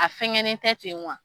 A fɛnkɛnen tɛ ten wa.